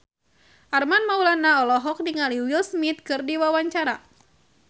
Armand Maulana olohok ningali Will Smith keur diwawancara